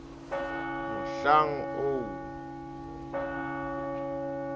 mohlang oo kolobe ha e